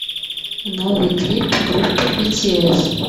новый клип группы битиэс